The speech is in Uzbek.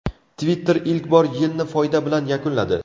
Twitter ilk bor yilni foyda bilan yakunladi.